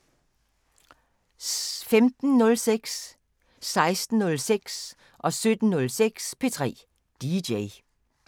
15:06: P3 DJ 16:06: P3 DJ 17:06: P3 DJ